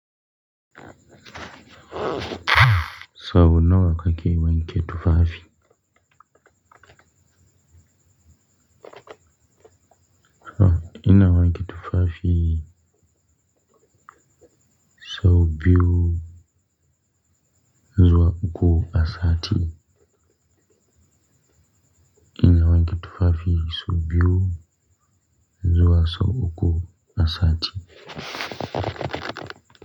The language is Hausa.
So nawa kake wanke tufafi. Ina wanke tufafii sau biyu zuwa uku a sati. Ina wanke tufafi sau biyu zuwa sau uku a sati.